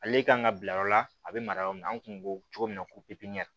Ale kan ka bila yɔrɔ la a bɛ mara yɔrɔ min na an kun ko cogo min na ko pipiniyɛri